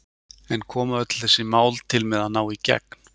En koma öll þessi mál til með að ná í gegn?